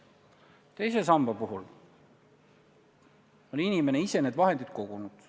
Teise samba puhul on inimene ise need vahendid kogunud.